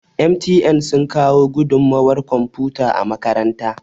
MTN sun kawo gudunmawar kwamfuta a makaranta